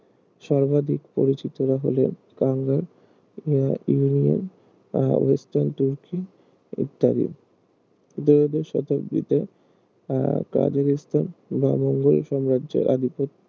সর্বাধিক পরিচিতরা হলেও কানরা আহ ইউনিয়ন আর তুর্কি ইত্যাদি দুই হাজার শতাব্দীতে আহ খাজাকিস্তান বা মঙ্গোল সাম্রাজ্যের আধিপত্য